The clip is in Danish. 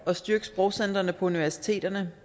at styrke sprogcentrene på universiteterne